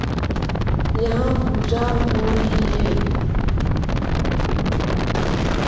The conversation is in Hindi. यहां पूजा हो रही है।